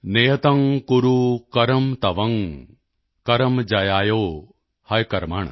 ਨਿਯਤੰ ਕੁਰੂ ਕਰਮ ਤਵੰ ਕਰਮ ਜਯਾਯੋ ਹਯਕਰਮਣ